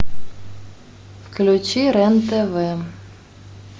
включи рен тв